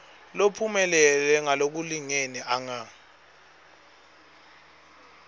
lophumelele ngalokulingene anga